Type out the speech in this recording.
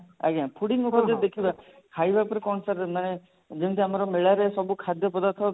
ଆଜ୍ଞା fooding ଉପରେ ଯଦି ଦେଖିବା ଖାଇବା ଉପରେ କଣ sir ମାନେ ଯେମତି ଆମର ମେଳାରେ ସବୁ ଖାଦ୍ୟ ପଦାର୍ଥ